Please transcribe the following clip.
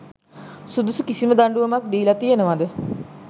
සුදුසු කිසිම දඩුවමක් දීලා තියෙනවද